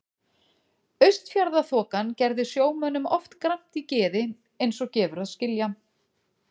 Austfjarðaþokan gerði sjómönnum oft gramt í geði eins og gefur að skilja.